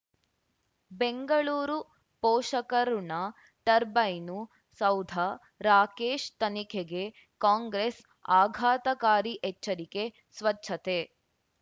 ಬೆಂಗಳೂರು ಪೋಷಕರಋಣ ಟರ್ಬೈನು ಸೌಧ ರಾಕೇಶ್ ತನಿಖೆಗೆ ಕಾಂಗ್ರೆಸ್ ಆಘಾತಕಾರಿ ಎಚ್ಚರಿಕೆ ಸ್ವಚ್ಛತೆ